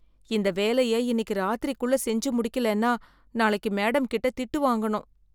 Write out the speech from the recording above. இந்த வேலைய இன்னிக்கு ராத்திரிக்குள்ள செஞ்சு முடிக்கலன்னா, நாளைக்கு மேடம் கிட்ட திட்டு வாங்கணும்.